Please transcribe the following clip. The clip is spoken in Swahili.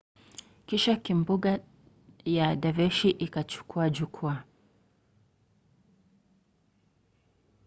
kisha kimbunga ya daveshi ikachukua jukua